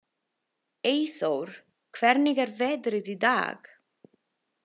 Eyþór, hvernig er veðrið í dag?